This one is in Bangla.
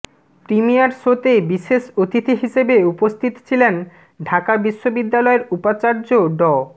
প্রিমিয়ার শোতে বিশেষ অতিথি হিসেবে উপস্থিত ছিলেন ঢাকা বিশ্ববিদ্যালয়ের উপাচার্য ড